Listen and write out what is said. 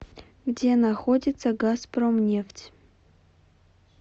где находится газпромнефть